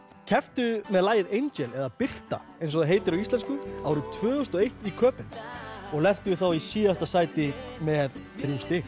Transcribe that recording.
kepptu með lagið Angel eða Birta eins og það heitir á íslensku tvö þúsund og eitt í Köben og lentu þá í síðasta sæti með þrjú stig